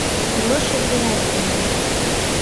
лешей гераськиным